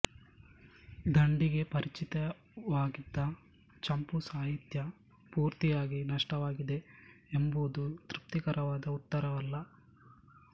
ದಂಡಿಗೆ ಪರಿಚಿತವಾಗಿದ್ದ ಚಂಪೂ ಸಾಹಿತ್ಯ ಪೂರ್ತಿಯಾಗಿ ನಷ್ಟವಾಗಿದೆ ಎಂಬುದು ತೃಪ್ತಿಕರವಾದ ಉತ್ತರವಲ್ಲ